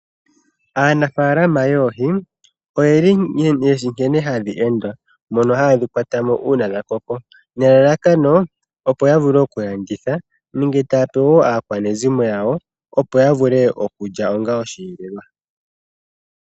Aanafalama yoohi oye shi nkene hadhi endwa. Ohaye dhi kwata uuna ngele dha koko, nelalakano opo ya vule okulanditha nenge taya pe aakwanezimo yawo opo ya vule okulya ongaa osheelelwa.